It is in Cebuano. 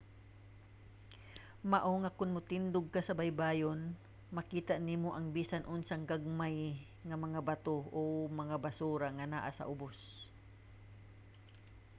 mao nga kon motindog ka sa baybayon makita nimo ang bisan unsang gagmay nga mga bato o mga basura nga naa sa ubos